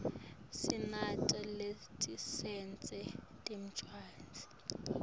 sinato naletitsengisa tincwadzi